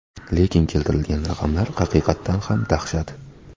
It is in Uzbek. Lekin keltirilgan raqamlar haqiqatan ham dahshat.